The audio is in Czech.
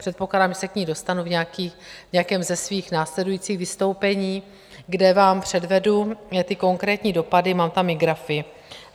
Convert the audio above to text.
Předpokládám, že se k ní dostanu v nějakém ze svých následujících vystoupení, kde vám předvedu ty konkrétní dopady, mám tam i grafy.